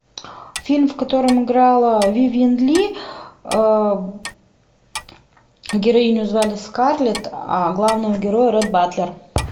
фильм в котором играла вивьен ли героиню звали скарлетт а главного героя ретт батлер